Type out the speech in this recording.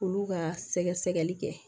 Olu ka sɛgɛsɛli kɛ